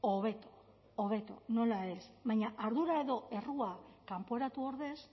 hobeto hobeto nola ez baina ardura edo errua kanporatu ordez